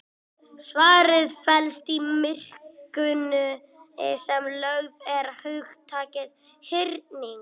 Svarið felst í merkingunni sem lögð er í hugtakið hyrning.